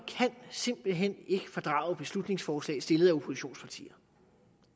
simpelt hen ikke kan fordrage beslutningsforslag stillet af oppositionspartier